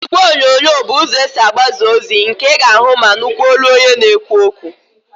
Ígwèonyonyo bụ ụzọ esi agbasa ozi nke ị ga-ahụ ma nụkwa olu onye na-ekwu okwu.